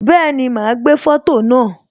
Bẹẹni, ma gbé foto naa